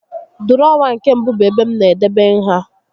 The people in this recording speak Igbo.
Dụrọwa nke mbụ bụ ebe m na-edebe nha